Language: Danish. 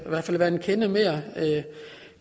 være en kende mere